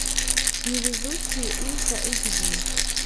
невезучие ультра эйч ди